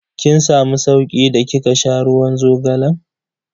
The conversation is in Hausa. Kin samu sauki da kika sha ruwan zogalan?